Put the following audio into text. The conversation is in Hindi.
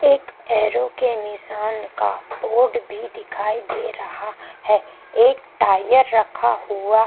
एक एरो के निशान का बोर्ड भी दिखाई दे रहा है एक टायर रखा हुआ --